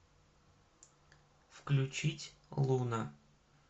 включить луна